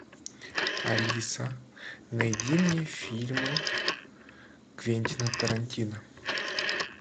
алиса найди мне фильмы квентина тарантино